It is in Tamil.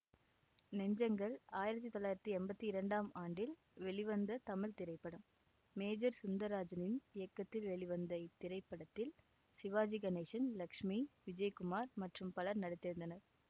நெஞ்சங்கள் ஆயிரத்தி தொள்ளாயிரத்தி எம்பத்தி இரண்டாம் ஆண்டில் வெளிவந்த தமிழ் திரைப்படம் மேஜர் சுந்தரராஜனின் இயக்கத்தில் வெளிவந்த இத்திரைப்படத்தில் சிவாஜி கணேசன் லட்சுமி விஜயகுமார் மற்றும் பலர் நடித்திருந்தனர்